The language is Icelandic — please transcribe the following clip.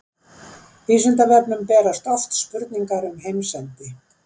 Vísindavefnum berast oft spurningar um heimsendi.